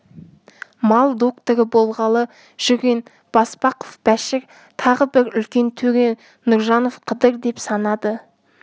мал докторы болғалы жүрген баспақов бәшір тағы бір үлкен төре нұржанов қыдыр деп санады